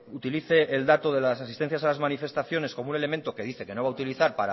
utilice el dato de las asistencias a las manifestaciones como un elemento que dice que no va a utilizar